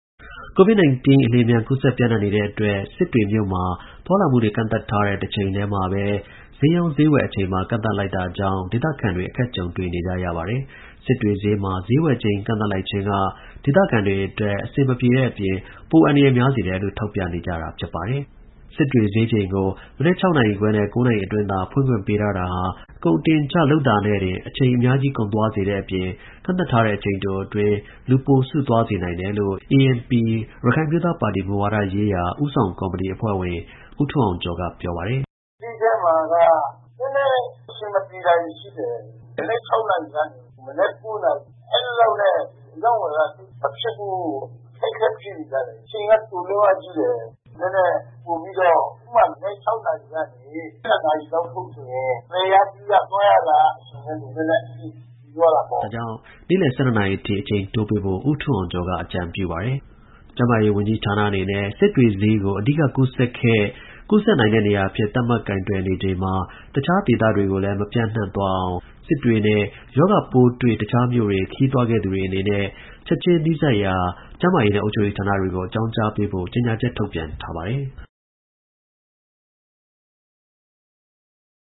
ကိုဗစ်-၁၉ အလျင်အမြန် ကူးစက် ပျံ့နှံ့နေတဲ့အတွက် စစ်တွေမြို့မှာ သွားလာမှုတွေ ကန့်သတ်ထားတဲ့ တချိန်ထဲမှာဘဲ ဈေးရောင်း ဈေးဝယ်အချိန်ပါ ကန့်သတ်လိုက်တာကြောင့် ဒေသခံတွေ အခက်ကြုံနေကြရပါတယ်။ စစ်တွေဈေးမှာ ဈေးဝယ်ချိန် ကန့်သတ်လိုက်ခြင်းက ဒေသခံတွေ အတွက် အဆင်မပြေတဲ့အပြင် ပိုအန္တရာယ်များစေတယ်လို့ ထောက်ပြနေကြတာပါ။ စစ်တွေဈေးချိန်ကို မနက် နာရီနဲ့ နာရီအတွင်း သာ ဖွင့်ခွင့် ပေးထားတာဟာ ကုန်အတင်အချနဲ့တင် အချိန်အများကြီးကုန်သွားစေတဲ့အပြင် ကန့်သတ်ထားတဲ့ အချိန်တိုတွင်း လူပိုစုသွားနိုင်တယ်လို့ ANP ရခိုင်အမျိုးသားပါတီ မူဝါဒရေးရာဦးဆောင်ကော်မတီအဖွဲ့ဝင် ဦးထွန်းအောင်ကျော်က ပြောပါတယ်။ “ဈေးထဲမှာက နည်းနည်းအဆင်မပြေတာတွေရှိတယ်။ မနက် နာရီနဲ့ မနက် နာရီ အဲလောက်နဲ့ အရောင်းအဝယ်က သိပ်မဖြစ်ဘူး ၊ ခက်ခဲနေကြတယ်။ အချိန်က တိုလွန်းအားကြီးတယ် နည်းနည်းပိုပြီးတော့ ဥပမာ-မနက် နာရီကနေ ၁၂ နာရီလောက်ဆိုရင် ဝယ်ရပြုရ၊သွားရလာရ တာက နည်းနည်းအဆင်ပြေသွားတာပေါ့။" ဒါကြောင့် နေ့လည် နာရီထိ အချိန်တိုးပေးဖို့ ဦးထွန်းအောင်ကျော်က အကြံပြုပါတယ်။ ကျန်းမာရေးဝန်ကြီးဌာနအနေနဲ့ စစ်တွေဈေးကို အဓိကကူးစက်ခဲ့၊ ဆက်ကူးစက်နိုင်တဲ့နေရာအဖြစ် သတ်မှတ်ကိုင်တွယ်နေချိန်မှာ၊ အခြားဒေသတွေကိုလည်း မပျံ့သွားရအောင်၊ စစ်တွေနဲ့ရောဂါပိုးတွေ့ အခြားမြို့တွေ ခရီးသွားခဲ့သူတွေအနေနဲ့ ချက်ချင်း နီးစပ်ရာကျန်းမာရေးနဲ့အုပ်ချုပ်ရေးဌာနတွေကို အကြောင်းကြားပေးဖို့ ကြေညာချက် ထုတ်ပြန်ထားပါတယ်။